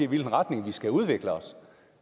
hvilken retning vi skal udvikle os